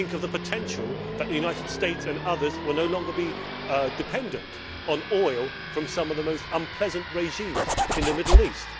Think of the potential for the United States and other countries to no longer be dependent on oil from some of the most unpleasant regimes in the Middle East.